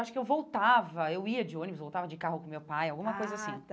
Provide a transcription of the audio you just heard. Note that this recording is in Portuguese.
Acho que eu voltava, eu ia de ônibus, eu voltava de carro com meu pai, alguma coisa assim. Ah tá